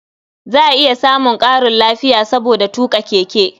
Za a iya samun ƙarin lafiya saboda tuƙa keke.